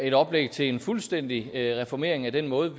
et oplæg til en fuldstændig reformering af den måde